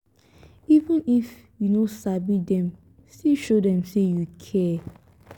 even if you no sabi dem still show dem sey you care.